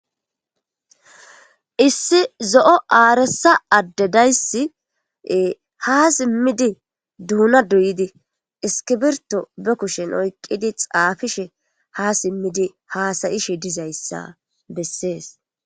Issi zo'o aaressa addedayssie ha simmidi duuna duyidi iskibirto be kushen oyqqidi xaafishe ha simmidi haasayishe dizayssa bessees.